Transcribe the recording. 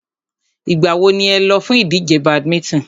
Ìgbà wo ni ẹ lọ fún ìdíje badminton?